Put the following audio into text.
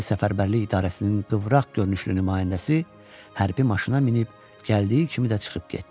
Hərbi Səfərbərlik İdarəsinin qıvraq görünüşlü nümayəndəsi hərbi maşına minib gəldiyi kimi də çıxıb getdi.